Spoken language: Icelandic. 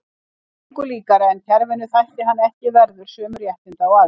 Það var engu líkara en kerfinu þætti hann ekki verður sömu réttinda og aðrir.